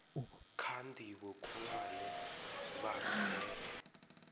kha ndivho khulwane vha rere